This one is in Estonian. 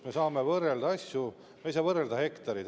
Me saame võrrelda asju, me ei saa võrrelda hektareid.